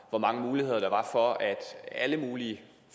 hvor mange muligheder der var for at alle mulige